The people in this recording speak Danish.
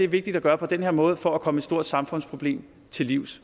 vigtigt at gøre på den her måde for at komme et stort samfundsproblem til livs